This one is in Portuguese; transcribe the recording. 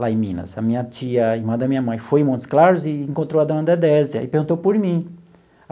Lá em Minas, a minha tia, a irmã da minha mãe, foi em Montes Claros e encontrou a dona Dedésia e perguntou por mim.